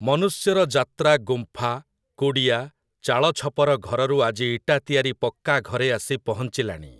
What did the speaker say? ମନୁଷ୍ୟର ଯାତ୍ରା ଗୁମ୍ଫା, କୁଡ଼ିଆ, ଚାଳଛପର ଘରରୁ ଆଜି ଇଟା ତିଆରି ପକ୍କା ଘରେ ଆସି ପହଞ୍ଚିଲାଣି ।